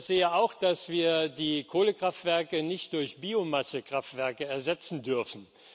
Ich sehe auch, dass wir die Kohlekraftwerke nicht durch Biomassekraftwerke ersetzen dürfen.